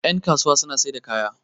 yankasuwa suna sai da kaya